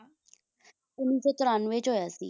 ਉੱਨੀ ਸੌ ਤ੍ਰਨਵੇਂ ਚ ਹੋਇਆ ਸੀ